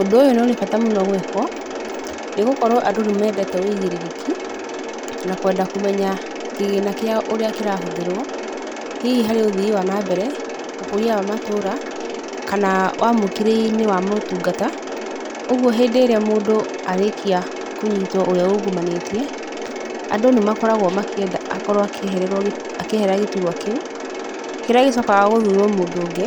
Ũndũ ũyũ nĩ ũrĩ bata mũno gwĩkwo nĩ gũkorwo andũ nĩ mendete wĩigĩrĩrĩki na kwenda kũmenya kĩgĩna kĩao ũrĩa kĩrahũthĩrwo hihi harĩ ũthii wa na mbere, ũkũria wa matũũra kana wamũkĩria-inĩ wa motungata, ũguo hĩndĩ ĩrĩa mũndũ arĩkia kũnyitwo, ũrĩa ungumanĩtie, andũ nĩ makoragwo makĩenda akorwo akĩeherera gĩturwa kĩu, kĩrĩa gĩcokaga gũthurwo mũndũ ũngĩ